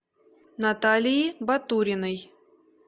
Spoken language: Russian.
наталии батуриной